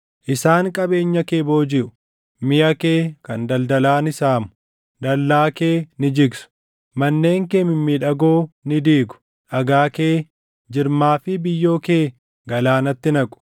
Isaan qabeenya kee boojiʼu; miʼa kee kan daldalaa ni saamu; dallaa kee ni jigsu; manneen kee mimmiidhagoo ni diigu; dhagaa kee, jirmaa fi biyyoo kee galaanatti naqu.